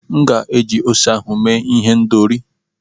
M ga-esi ose ahụ mee ihendọri.